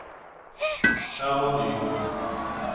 Herman Nygård